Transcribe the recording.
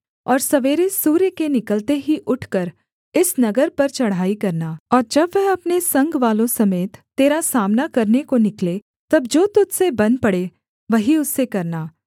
और सवेरे सूर्य के निकलते ही उठकर इस नगर पर चढ़ाई करना और जब वह अपने संगवालों समेत तेरा सामना करने को निकले तब जो तुझ से बन पड़े वही उससे करना